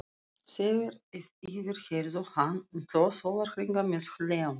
Þeir yfirheyrðu hann í tvo sólarhringa með hléum.